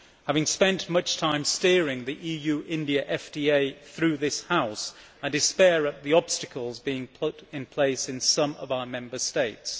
Having spent much time steering the EU India Free Trade Agreement through this House, I despair at the obstacles being put in place in some of our Member States.